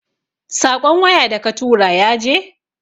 Saƙon waya da katura yaje?